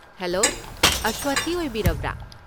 Hello, ꯑꯁꯋꯊꯤ ꯑꯣꯏꯕꯤꯔꯕ꯭ꯔꯥ?